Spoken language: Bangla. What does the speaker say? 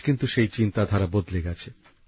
আজ কিন্তু সেই চিন্তাধারা বদলে গেছে